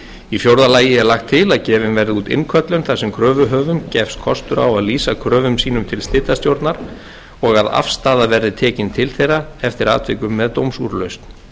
í fjórða lagi er lagt til að gefin verði út innköllun þar sem kröfuhöfum gefst kostur á að lýsa kröfum sínum til slitastjórnar og að afstaða verði tekin til þeirra eftir atvikum með dómsúrlausn